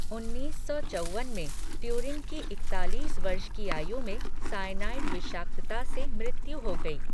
उन्नीस सौ चौवन में, ट्यूरिंग की इकतालीस वर्ष की आयु में साइनाइड विषाक्तता से मृत्यु हो गई।